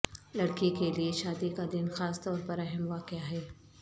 لڑکی کے لئے شادی کا دن خاص طور پر اہم واقعہ ہے